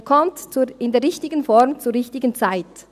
Er kommt in der richtigen Form zur richtigen Zeit.